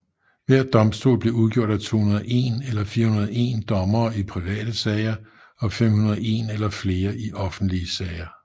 Hver domstol blev udgjort af 201 eller 401 dommere i private sager og 501 eller flere i offentlige sager